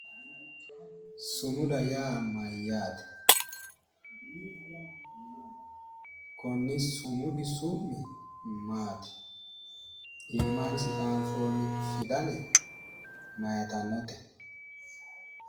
sumuda yaa mayyaate? konni sumudi su'mi maati? iimasi xaanfoonni fidale maayitannote?